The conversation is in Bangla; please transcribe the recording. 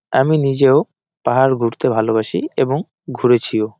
আমি নিজেও পাহাড় ঘুরতে ভালবাসি এবং ঘুরেছিও।